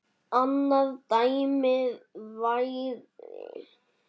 annað dæmi væri